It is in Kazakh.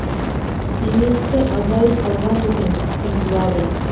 темекісі азайып қалған екен қынжылады